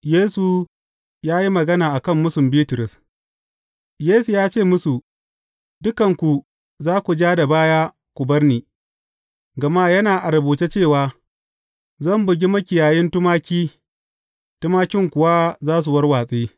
Yesu ya yi magana a kan mūsun Bitrus Yesu ya ce musu, Dukanku za ku ja da baya ku bar ni, gama yana a rubuce cewa, Zan bugi makiyayin tumaki, tumakin kuwa za su warwatse.’